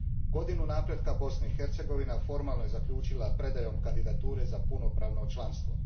Godinu napretka Bosna i Hercegovina formalno je zaključila predajom kandidature za punopravno članstvo.